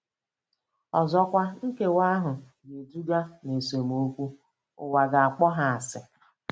Ọzọkwa, nkewa ahụ ga-eduga ná esemokwu - ụwa ga-akpọ ha asị.